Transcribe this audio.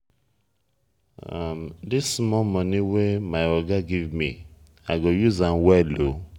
dis small moni wey my oga give me i go use am well o.